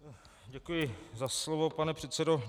Děkuji za slovo, pane předsedo.